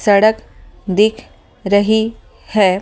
सड़क दिख रही है ।